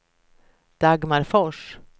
Dagmar Fors